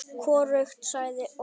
Hvorugt sagði orð.